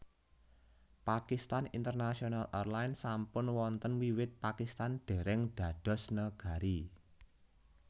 Pakistan International Airlines sampun wonten wiwit Pakistan déréng dados negari